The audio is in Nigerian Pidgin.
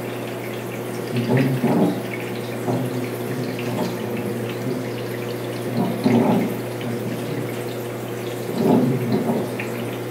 she don she don use plenti of her moni take epp pipu and d tin dey heavy her for mind